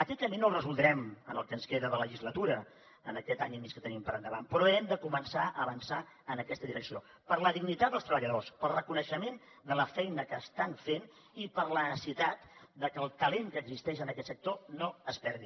aquest camí no el resoldrem en el que ens queda de legislatura en aquest any i mig que tenim per endavant però hem de començar a avançar en aquesta direcció per la dignitat dels treballadors pel reconeixement de la feina que estan fent i per la necessitat de que el talent que existeix en aquest sector no es perdi